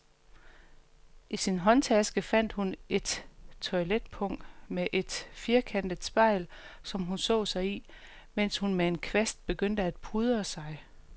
I sin håndtaske fandt hun et toiletpung med et firkantet spejl, som hun så sig i, mens hun med en kvast begyndte at pudre sig.